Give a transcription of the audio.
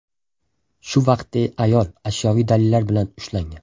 Shu vaqtda ayol ashyoviy dalillar bilan ushlangan.